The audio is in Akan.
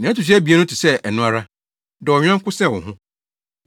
Nea ɛto so abien no te sɛ ɛno ara: ‘Dɔ wo yɔnko sɛ wo ho.’